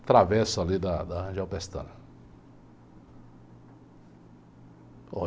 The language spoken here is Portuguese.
Atravesso ali da da Rangel Pestana.